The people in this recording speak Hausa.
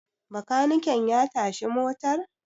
bakaniken ya tashi motar?